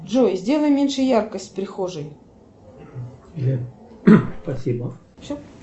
джой сделай меньше яркость в прихожей